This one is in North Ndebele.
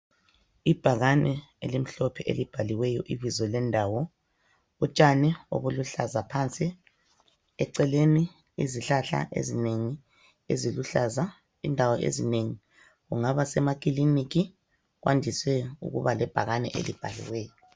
Ibhakane elimhlophe elibhaliweyo ibizo lendawo. Utshani obuluhlaza phansi, eceleni izihlahla ezinengi eziluhlaza indawo ezinengi. Kungaba semakiliniki kwandise ukuba lebhakane elibhaliweyo.